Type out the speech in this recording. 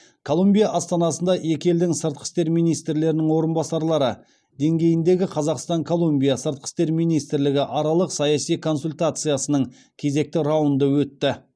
колумбия астанасында екі елдің сыртқы істер министрлерінің орынбасарлары деңгейіндегі қазақстан колумбия сыртқы істер министрлігі аралық саяси консультациясының кезекті раунды өтті